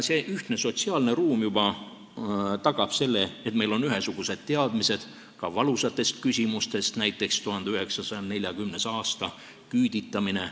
See ühtne sotsiaalne ruum juba tagab selle, et meil on ühesugused teadmised ka valusates küsimustes, näiteks 1940. aasta, küüditamine.